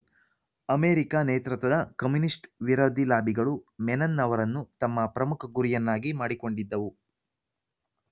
America ನೇತೃತ್ವದ communist ವಿರೋಧಿ ಲಾಬಿಗಳು ಮೆನನ್‌ ಅವರನ್ನು ತಮ್ಮ ಪ್ರಮುಖ ಗುರಿಯನ್ನಾಗಿ ಮಾಡಿಕೊಂಡಿದ್ದವು